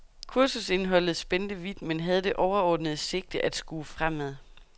Kursusindholdet spændte vidt, men havde det overordnede sigte at skue fremad.